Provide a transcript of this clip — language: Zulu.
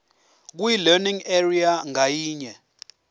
kwilearning area ngayinye